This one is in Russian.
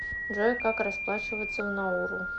джой как расплачиваться в науру